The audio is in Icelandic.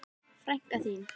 Frænka þín?